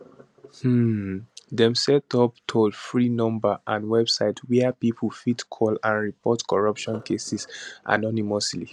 um dem set up toll free number and website wia pipo fit to call and report corruption cases anonymously